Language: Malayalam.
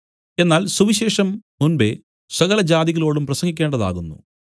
എന്നാൽ സുവിശേഷം മുമ്പെ സകലജാതികളോടും പ്രസംഗിക്കേണ്ടതാകുന്നു